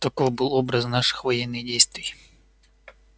таков был образ наших военных действий